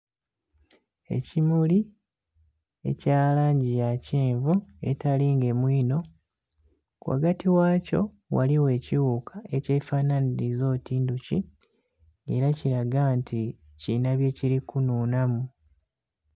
Ekimuli ekya langi ya kyenvu etali ngemu inho. Ghagati ghakyo ghaligho ekighuka ekyefanhanhiliza oti ndhuki, ela kilaga nti kilina byekili kunhunhamu.